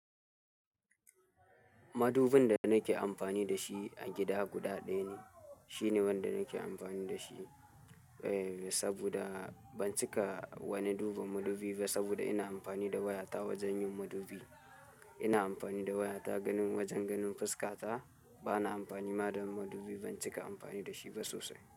Madubin da nake amfani da shi a gida guda ɗaya ne. Shine wanda nake amfani da shi, eh, saboda ban cika wani duba madubi ba saboda ina amfani da wayata wajen yin madubi. Ina amfani da wayata ganin wajen ganin fuska ta. Bana amfani madubin madubi, ban cika amfani da shi ba sosai.